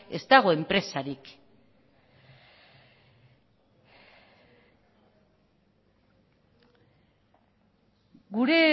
ez dago enpresarik gure